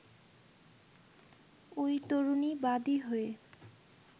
ওই তরুণী বাদি হয়ে